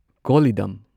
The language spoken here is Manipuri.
ꯀꯣꯜꯂꯤꯗꯝ